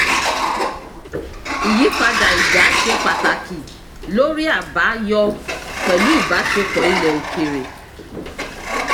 ìyípadà ìjà ṣe pàtàkì lórí àbáyọ pẹ̀lú ìbáṣepọ̀ ilẹ̀ òkèèrè.